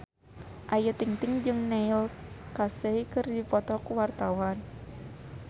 Ayu Ting-ting jeung Neil Casey keur dipoto ku wartawan